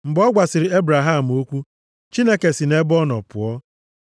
Mgbe ọ gwasịrị Ebraham okwu, Chineke si nʼebe ọ nọ pụọ.